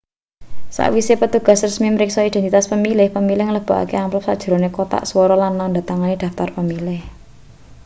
sakwise petugas resmi mriksa identitas pemilih pemilih nglebokake amplop sajerone kothak swara lan nandha tangani daftar pemilih